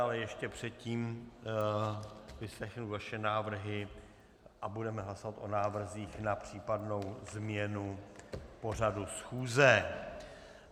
Ale ještě předtím vyslechnu vaše návrhy a budeme hlasovat o návrzích na případnou změnu pořadu schůze.